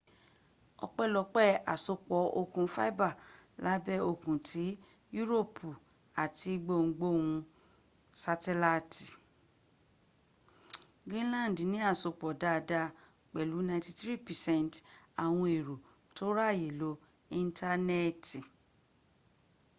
ọpẹlopé àsopọ̀ okùn fibre lábẹ́ òkun tsi yuropi ati boolu gbohungbohun satelaiti greenland ní àsopọ̀ dada pẹ̀lú 93% àwọn èrò tó ráyè lo íńtánẹ̀ẹ̀tì